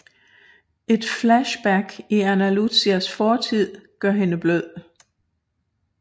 Et flashback i Ana Lucias fortid gøre hende blød